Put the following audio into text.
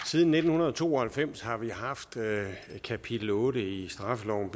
siden nitten to og halvfems har vi haft kapitel otte i straffeloven